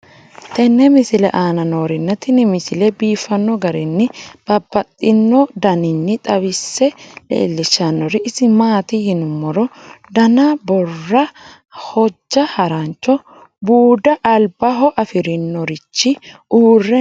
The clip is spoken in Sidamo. tenne misile aana noorina tini misile biiffanno garinni babaxxinno daniinni xawisse leelishanori isi maati yinummoro danna boora, hojja harancho, buuda alibaho afirinorichi uure noo